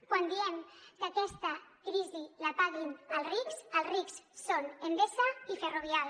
quan diem que aquesta crisi la paguin els rics els rics són endesa i ferrovial